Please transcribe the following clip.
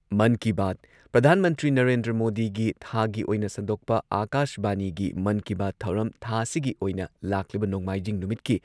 ꯃꯟ ꯀꯤ ꯕꯥꯠ ꯄ꯭ꯔꯙꯥꯥꯟ ꯃꯟꯇ꯭ꯔꯤ ꯅꯔꯦꯟꯗ꯭ꯔ ꯃꯣꯗꯤꯒꯤ ꯊꯥꯒꯤ ꯑꯣꯏꯅ ꯁꯟꯗꯣꯛꯄ ꯑꯥꯀꯥꯁꯕꯥꯅꯤꯒꯤ ꯃꯟ ꯀꯤ ꯕꯥꯠ ꯊꯧꯔꯝ ꯊꯥ ꯑꯁꯤꯒꯤ ꯑꯣꯏꯅ ꯂꯥꯛꯂꯤꯕ ꯅꯣꯡꯃꯥꯏꯖꯤꯡ ꯅꯨꯃꯤꯠꯀꯤ